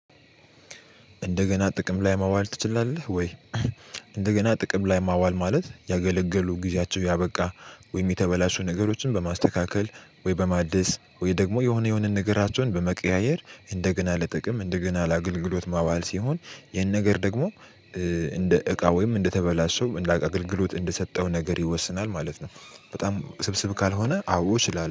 እንደገና ጥቅም ላይ ማዋል ትችላለህ ወይ? እንደገና ጥቅም ላይ ማዋል ማለት ያገለገሉ ጊዜያቸው ያበቃ ወይም የተበላሹ ነገሮችን በማስተካከል ወይ በማደስ ወይ ደግሞ የሆነ የሆነ ነገራቸውን በመቀያየር እንደገና ለጥቅም እንደገና ለአገልግሎት ማዋል ሲሆን ይህን ነገር ደግሞ እንደ እቃ ወይም እንደተበላሸው እንደ እቃ አግልግሎት እንደሰጠው ነገር ይወሰናል ማለት ነው። በጣም ውስብስብ ካልሆነ አዎ እችላለሁ